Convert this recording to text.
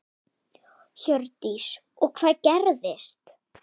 Hjördís: Og hvað gerðist?